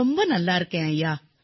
மிகவும் நன்றாக இருக்கிறேன் ஐயா